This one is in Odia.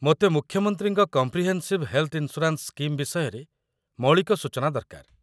ମୋତେ ମୁଖ୍ୟମନ୍ତ୍ରୀଙ୍କ କମ୍ପ୍ରିହେନ୍‌ସିଭ ହେଲ୍ଥ ଇନ୍‌ସ୍ୟୁରାନ୍ସ ସ୍କିମ୍ ବିଷୟରେ ମୌଳିକ ସୂଚନା ଦରକାର